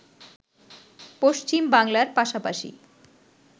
পশ্চিম বাংলার পাশাপাশি